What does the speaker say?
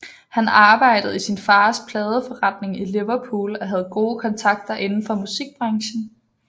Han arbejdede i sin fars pladeforretning i Liverpool og havde gode kontakter inden for musikbranchen